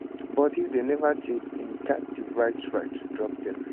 but if dey neva change im gat di right right to drop dem